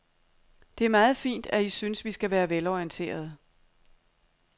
Det er meget fint, at I synes, vi skal være velorienterede.